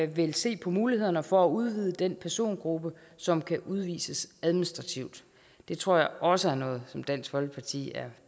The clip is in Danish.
vil se på mulighederne for at udvide den persongruppe som kan udvises administrativt det tror jeg også er noget som dansk folkeparti er